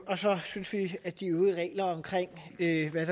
og så synes vi at de øvrige